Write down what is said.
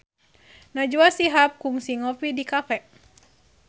Najwa Shihab kungsi ngopi di cafe